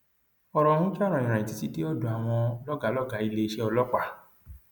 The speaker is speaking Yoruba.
ọrọ ọhún jà rànyìn títí dé ọdọ àwọn lọgàá lọgàá iléeṣẹ ọlọpàá